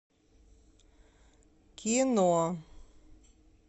кино